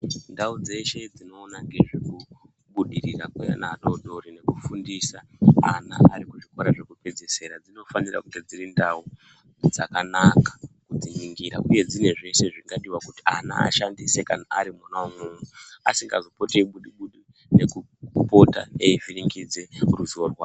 Ndau dzeshe dzinoona ngezvekubudirira kweana adodori nekufundisa ana ari kuzvikora zvekupedzisira dzinofanire kunge dziri ndau dzakanaka kudziningira uye dzine zveshe zvinodiwa kuti ana ashandise ari mwona umwomwo asingazopoti eibudi budi nekupota eivhuringidze ruziwo rwawo.